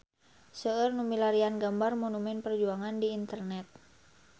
Seueur nu milarian gambar Monumen Perjuangan di internet